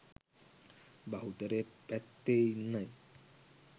බහුතරය පැත්තේ ඉන්නයි